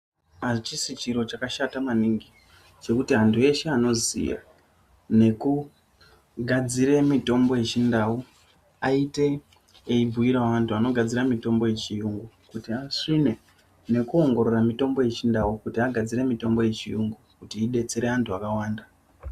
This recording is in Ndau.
Achisi chiro chakashata maningi kuti andu eshe anoziya nekugadzira mutombo yechindau aite eibhiirawo andu anogadzira mutombo yechiyungu kuti asvine nekuongorora mutombo yechindau kuti agadzire mutombo yechiyungu kuti idetsere andu akawanda.